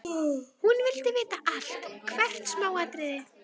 Hún vildi vita allt, hvert smáatriði.